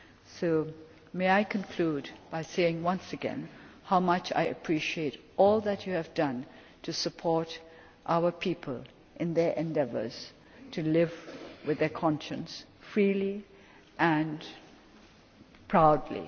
to ask. So may I conclude by saying once again how much I appreciate all that you have done to support our people in their endeavours to live with their conscience freely and